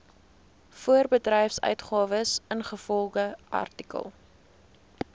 voorbedryfsuitgawes ingevolge artikel